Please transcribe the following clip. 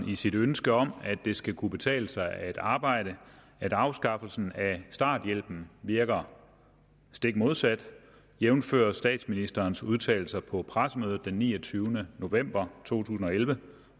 i sit ønske om at det skal kunne betale sig at arbejde at afskaffelsen af starthjælpen virker stik modsat jævnfør statsministerens udtalelser på pressemødet den niogtyvende november to tusind og elleve